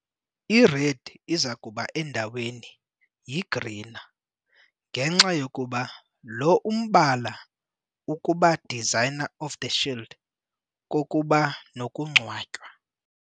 I-red izakuba endaweni yi - grená, ngenxa yokuba lo umbala ukuba designer of the shield kokuba nokungcwatywa.